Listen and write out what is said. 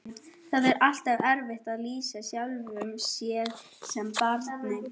Það er alltaf erfitt að lýsa sjálfum sér sem barni.